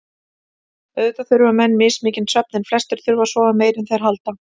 Auðvitað þurfa menn mismikinn svefn en flestir þurfa að sofa meira en þeir halda.